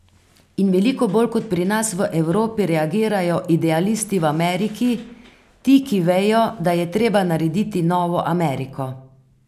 In veliko bolj kot pri nas v Evropi reagirajo idealisti v Ameriki, ti ki vejo, da je treba narediti novo Ameriko.